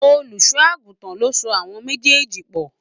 Olùṣọ́ àgùntàn ló so àwọn méjèèjì pọ̀